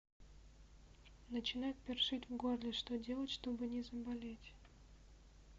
начинает першить в горле что делать чтобы не заболеть